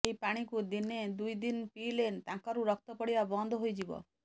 ଏହି ପାଣିକୁ ଦିନେ ଦୁଇ ଦିନ ପିଇଲେ ନାକରୁ ରକ୍ତ ପଡିବା ବନ୍ଦ ହୋଇଯିବ